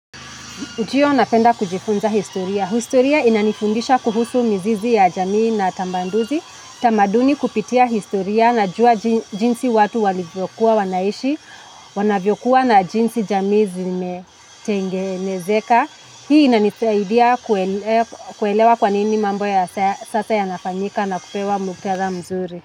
Ndiyo napenda kujifunza historia. Historia inanifundisha kuhusu mizizi ya jamii na tambanduzi. Tamaduni kupitia historia najua jinsi watu walivyokuwa wanaishi, wanavyokuwa na jinsi jamii zimetengenezeka. Hii inanisaidia kuelewa kwa nini mambo ya sasa yanafanyika na kupewa muktadha mzuri.